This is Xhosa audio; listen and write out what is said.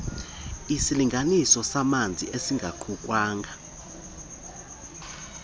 isilinganisi samanzi esingaqukwanga